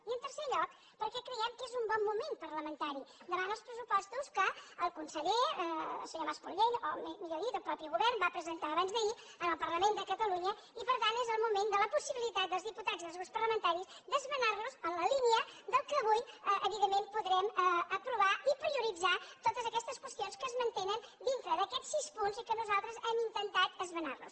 i en tercer lloc perquè creiem que és un bon moment parlamentari davant dels pressupostos que el conseller el senyor mas colell o millor dit el mateix govern va presentar abans d’ahir al parlament de catalunya i per tant és el moment de la possibilitat dels diputats i dels grups parlamentaris d’esmenar los en la línia del que avui evidentment podrem aprovar i prioritzar totes aquestes qüestions que es mantenen dintre d’aquests sis punts i que nosaltres hem intentat esmenar los